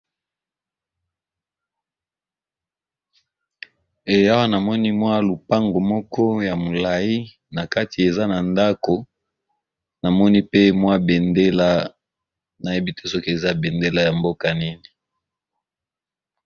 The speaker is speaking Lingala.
Eh awa na moni mwa lupango moko ya molayi na kati eza na ndako, namoni pe mwa bendela nayebi te soki eza bendela ya mboka nini.